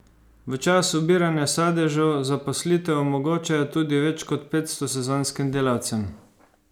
V času obiranja sadežev zaposlitev omogočajo tudi več kot petsto sezonskim delavcem.